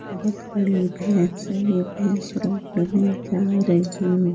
बोहोत बड़ी भैंस है ये भैंस रोड में जा रही --